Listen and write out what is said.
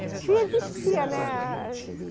Que se existia, né?